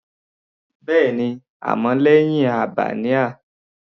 Bẹ́ẹ̀ni, àmọ́ lẹ́hìn Albanian.